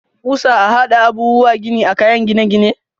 Kusa a hada abubuwa gini a kayan gine-gine.